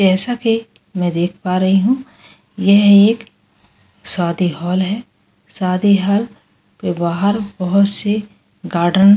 जैसा कि मैं देख पा रही हूं यह एक शादी हॉल है शादी हॉल के बाहर बहुत सी गाढ़ा --